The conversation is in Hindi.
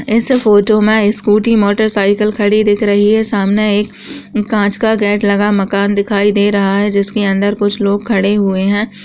इस फोटो मे स्कूटी मोटरसाइकिल खड़ी दिख रही है सामने एक कांच का गेट लगा मकान दिखाई दे रहा है जिसके अन्दर कुछ लोग खड़े हुए हैं।